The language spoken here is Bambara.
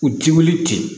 U ti wuli ten